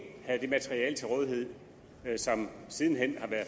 havde det materiale til rådighed som siden hen er